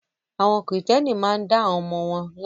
Àwọn Kìrìtẹ́ẹ́nì máa ń dá àwọn ọmọ wọn lábẹ.